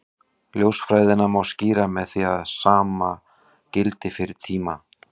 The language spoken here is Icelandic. Ljósfræðina má skýra með því að sama gildi fyrir tíma.